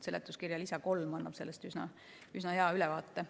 Seletuskirja lisa 3 annab sellest üsna hea ülevaate.